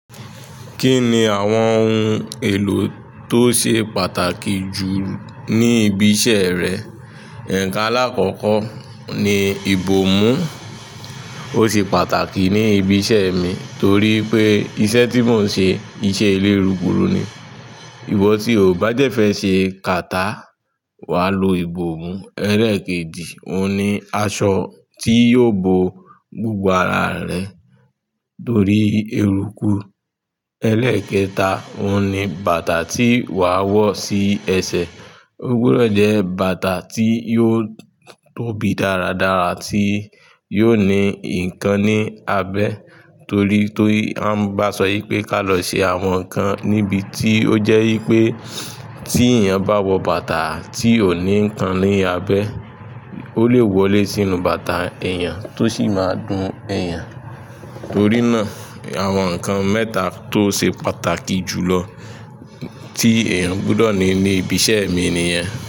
Kí ni àwọn ohun èlò tó ṣe pàtàkì jù ní ibi iṣẹ́ rẹ? Nkan àlakọ́kọ́, oun ni ìbòmú, ó ṣe pàtàkì ní ibi iṣẹ́ mi torí pé iṣẹ́ tí mò ń ṣe iṣẹ́ elérukuru ni, ìwò tí o bá de fẹ́ ṣe kàtá, wàá lo ìbòmú. Ẹ́leekejì, òun ni aṣọ tí yóò bo gbogbo ara rẹ torí eruku. Ẹ́leekẹta, òun ni bàtà tí wàá wọ̀ sí ẹsẹ̀. Ó gbọdọ̀ jẹ́ bàtà tí yóò tóbi dáradára, tí yóò ní ǹkan ní abẹ́ torí tori pé tan bá sọ yí pé ká lọ ṣe àwọn nǹkan níbi tí ó jẹ́ wípé tí èèyàn bá wọ bàtà tí ò ní ǹkan ní abẹ́, o lè wọlé sínú bàtà èèyàn tó sì máa dun èèyàn. Torí náà, àwọn nǹkan mẹ́ta tó ṣe pàtàkì jù lọ tí èèyàn gbọdọ̀ ní ní ibi iṣẹ́ mi nìyẹn.